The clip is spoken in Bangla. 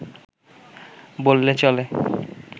বললে চলে